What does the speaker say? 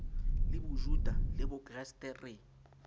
le bojuta le bokreste re